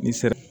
Ni sere